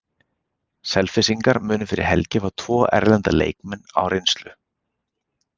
Selfyssingar munu fyrir helgi fá tvo erlenda leikmenn á reynslu.